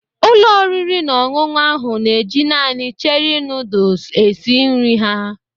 Ụlọ oriri na ọṅụṅụ ahụ na-eji naanị Cherie noodles esi nri ha.